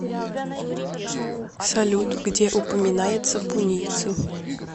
салют где упоминается пунийцы